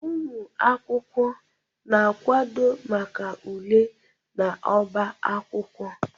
Ụmụ akwụkwọ na-akwado maka ule n'ọbá akwụkwọ